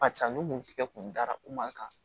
Barisa ni mun tigɛ kun dara u man kan